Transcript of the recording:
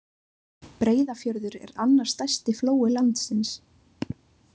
Breiðafjörður er annar stærsti flói landsins.